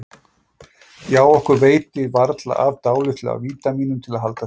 Já, okkur veitir varla af dálitlu af vítamínum til að halda þreki